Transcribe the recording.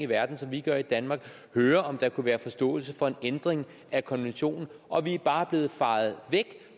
i verden som vi gør i danmark høre om der kunne være forståelse for en ændring af konventionen og vi er bare blevet fejet væk